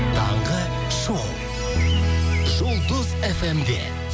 таңғы шоу жұлдыз фм де